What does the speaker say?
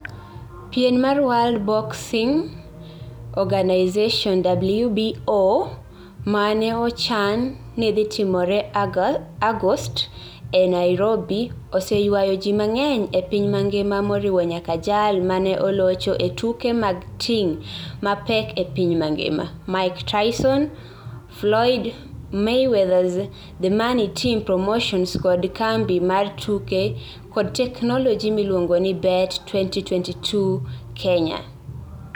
Pien mar World Boxing Organisation (WBO) ma ne ochan ni dhi timore Agost e Nairobi, oseywayo ji mang'eny e piny mangima moriwo nyaka jal ma ne olocho e tuke mag ting' mapek e piny mangima, Mike Tyson, Floyd Mayweather's The Money Team Promotions kod kambi mar tuke kod teknoloji miluongo ni Bet22 Kenya.